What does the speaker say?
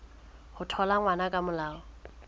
ho thola ngwana ka molao